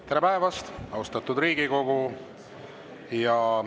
Tere päevast, austatud Riigikogu!